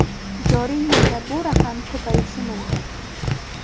Joriy yilda bu raqam ko‘payishi mumkin.